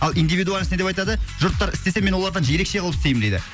ал индивидуальность не деп айтады жұрттар істесе мен олардан ерекше қылып істеймін дейді